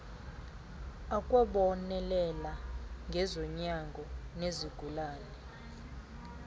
akwabonelela ngezonyango nezigulane